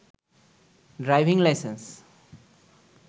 driving licence